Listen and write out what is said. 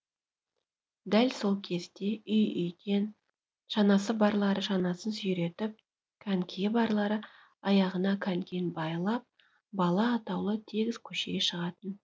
дәл сол кезде үй үйден шанасы барлары шанасын сүйретіп конькиі барлары аяғына конькиін байлап бала атаулы тегіс көшеге шығатын